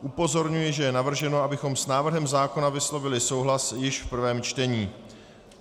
Upozorňuji, že je navrženo, abychom s návrhem zákona vyslovili souhlas již v prvém čtení.